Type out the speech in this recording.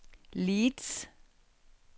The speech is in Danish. Leeds